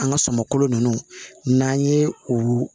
An ka sɔmɔ kolo ninnu n'an ye o